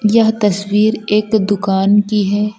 यह तस्वीर एक दुकान की है।